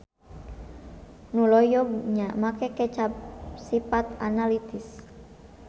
Nu loyog nya make kecap sipat analitis.